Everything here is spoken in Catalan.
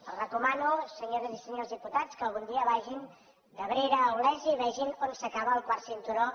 els recomano senyores i senyors diputats que algun dia vagin d’abrera a olesa i vegin on s’acaba el quart cinturó